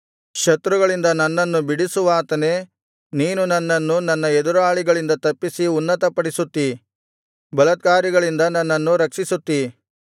ಶತ್ರುಗಳಿಂದ ನನ್ನನ್ನು ಬಿಡಿಸುವಾತನೇ ನೀನು ನನ್ನನ್ನು ನನ್ನ ಎದುರಾಳಿಗಳಿಂದ ತಪ್ಪಿಸಿ ಉನ್ನತಪಡಿಸುತ್ತಿ ಬಲಾತ್ಕಾರಿಗಳಿಂದ ನನ್ನನ್ನು ರಕ್ಷಿಸುತ್ತಿ